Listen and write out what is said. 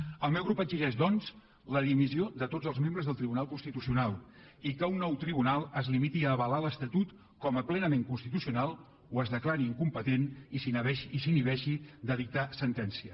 el meu grup exigeix doncs la dimissió de tots els membres del tribunal constitucional i que un nou tribunal es limiti a avalar l’estatut com a plenament constitucional o es declari incompetent i s’inhibeixi de dictar sentència